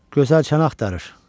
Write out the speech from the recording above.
Gözəl çən axtarır.